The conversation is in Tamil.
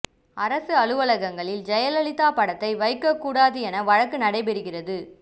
அரசு அலுவலகங்களில் ஜெயலலிதா படத்தை வைக்க கூடாது என வழக்கு நடைபெறுகிறது